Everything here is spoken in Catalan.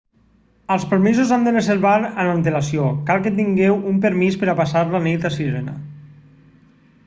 els permisos s'han de reservar amb antelació cal que tingueu un permís per a passar la nit a sirena